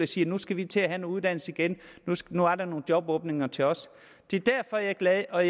siger nu skal vi til at have noget uddannelse igen nu er der nogle jobåbninger til os det er derfor jeg er glad og